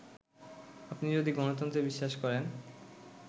আপনি যদি গণতন্ত্রে বিশ্বাস করেন